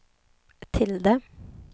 tilde